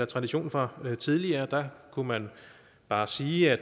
tradition for tidligere der kunne man bare sige at